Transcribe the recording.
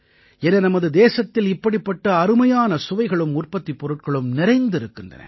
என நமது தேசத்தில் இப்படிப்பட்ட அருமையான சுவைகளும் உற்பத்திப் பொருட்களும் நிறைந்திருக்கின்றன